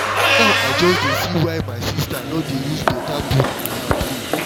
na now i just see why my sister no dey use better food matter play